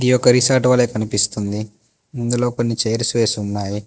ఇది ఒక రిసార్ట్ వలే కనిపిస్తుంది ఇందులో కొన్ని చైర్స్ వేసున్నాయి.